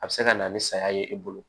A bɛ se ka na ni saya ye e bolo